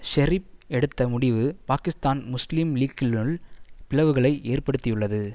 ஷெரீப் எடுத்த முடிவு பாகிஸ்தான் முஸ்லீம் லீக்கினுள் பிளவுகளை ஏற்படுத்தியுள்ளது